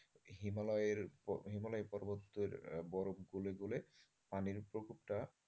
হিমালয়ের হিমালয় পর্বতের বরফ গলে গলে পানির প্রকোপটা,